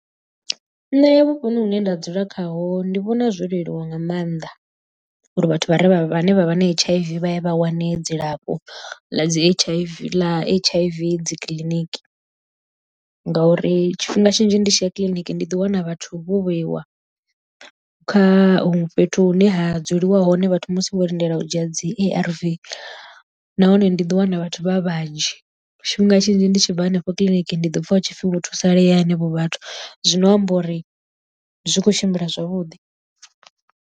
Nṋe vhuponi hune nda dzula khaho ndi vhona zwo leluwa nga maanḓa uri vhathu vha re vhane vhavha na H_I_V vha ye vha wane dzilafho ḽa dzi H_I_V ḽa H_I_V dzi kiḽiniki. Ngauri tshifhinga tshinzhi ndi tshi ya kiḽiniki ndi ḓi wana vhathu vho vheiwa kha hu fhethu hune ha dzuliwa hone vhathu musi vho lindela u dzhia dzi A_R_V nahone ndi ḓi wana vhathu vha vhanzhi tshifhinga tshinzhi ndi tshi bva henefho kiḽiniki ndi ḓi pfha hu tshipfi wo thusalea henevho vhathu zwino amba uri zwi khou tshimbila zwavhuḓi.